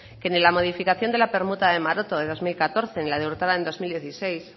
que en la modificación de la permuta de maroto de dos mil catorce y la de urtaran en dos mil dieciséis